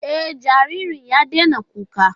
E, jaririn ya daina kukan.